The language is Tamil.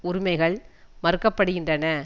உரிமைகள் மறுக்க படுகின்றன